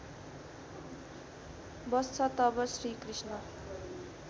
बस्छ तब श्रीकृष्ण